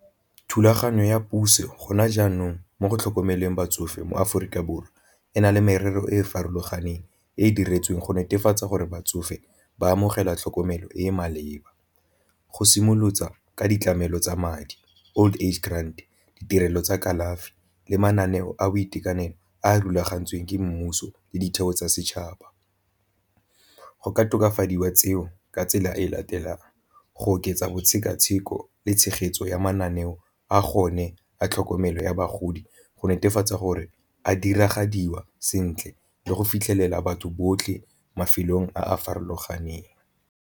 Thulaganyo ya puso gona jaanong mo go tlhokomeleng batsofe mo Aforika Borwa ena le merero e e farologaneng, e e diretsweng go netefatsa gore batsofe ba amogela tlhokomelo e e maleba. Go ka ditlamelo tsa madi old age grand, ditirelo tsa kalafi le mananeo a boitekanelo a a rulagantsweng ke mmuso le ditheo tsa setšhaba, go ka tokafadiwa tseo ka tsela e latelang go oketsa bosekaseki go le tshegetso ya mananeo a gone a tlhokomelo ya bagodi go netefatsa gore a diragadiwa sentle le go fitlhelela batho botlhe mafelong a a farologaneng.